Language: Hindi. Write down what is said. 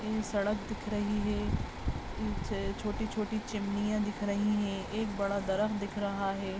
सड़क दिखरही है। ऊ छे छोटी-छोटी चिमनिया दिख रही हैं। एक बड़ा ड्रम दिख रहा है।